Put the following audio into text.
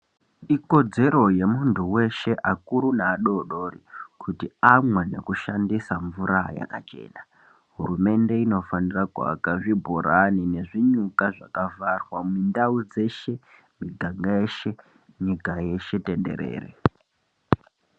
Ikodzero yemuntu weshe akuru neadodori kuti amweni nekushandisa mvura yakachena hurumende inofanira kuaka zvibhorani nezvinyuka zvakavharwa mundau dzeshe miganga yeshe nyika yeshe tenderere.